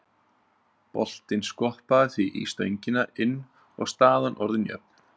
Boltinn skoppaði því í stöngina inn og staðan orðin jöfn.